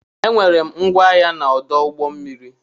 E nwere m ngwa ahịa na ọdụ ụgbọ mmiri.